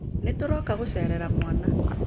Nĩtũroka gũcerera mwana